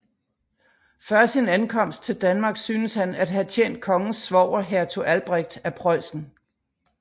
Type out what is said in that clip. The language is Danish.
Før sin ankomst til Danmark synes han at have tjent kongens svoger Hertug Albrecht af Preussen